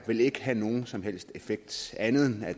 vil ikke have nogen som helst effekt andet end at